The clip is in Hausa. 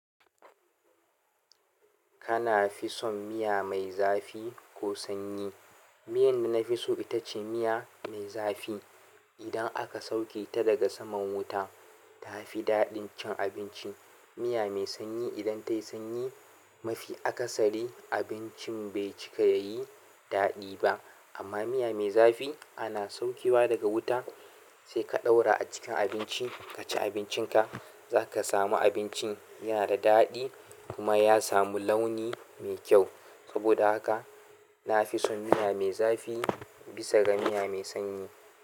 Kana fi son miya mai zafi ko sanyi? Miyar da na fi so ita ce miya mai zafi. Idan aka sauke ta daga saman wuta, ta fi daɗin cin abinci. Miya mai sanyi idan ta yi sanyi mafi akasari, abincin bai cika ya yi daɗi ba. Amma miya mai zafi ana saukewa daga wuta, sai ka ɗaura a cikin abinci, ka ci abincinka. Za ka samu abincin yana da daɗi kuma ya samu launi mai kyau. Saboda haka na fi son miya mai zafi bisa ga miya mai sanyi.